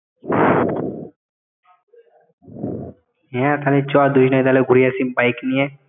হ্যাঁ তাহলে চ দুজনে তাহলে ঘুরে আসি bike নিয়ে